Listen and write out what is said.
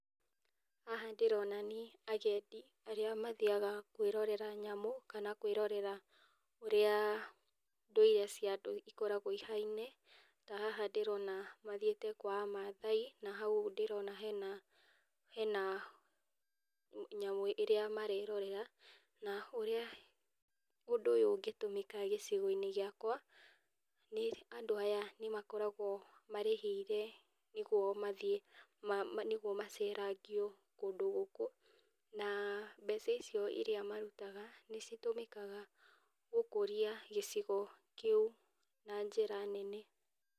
Haha ndĩrona nĩ agendi arĩa mathiaga kwĩrorera nyamũ, kana kwĩrorera ũrĩa ndũire cia andũ ikoragwo ihaine, ta haha ndĩrona mathiĩte kwa amaathai na ndĩrona hena , hena nyamũ ĩrĩa marerorera, na ũrĩa ũndũ ũyũ ũngĩtũmĩka gĩcigo gĩakwa, nĩ andũ aya nĩ makoragwo marĩhĩire, nĩguo mathiĩ magĩceragio kũndũ gũkũ, na mbeca icio iria marutaga nĩcitũmĩkaga gũkũria gĩcigo kĩu na njĩra nene.